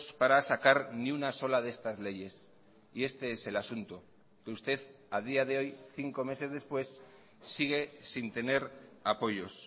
para sacar ni una sola de estas leyes y este es el asunto que usted a día de hoy cinco meses después sigue sin tener apoyos